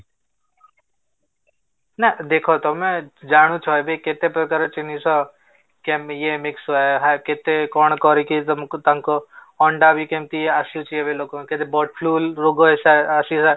ନା, ତମେ ଦେଖ ତମେ ଜାଣୁଚ ଏବେ କେତେ ପ୍ରକାର ଜିନିଷ mix କେତେ କଣ କରିକି ତମକୁ ତାଙ୍କ ଅଣ୍ଡା ବି କେମିତି ଆସୁଛି ଲୋକଙ୍କ କେତେ bird flu ରୋଗ ଆସି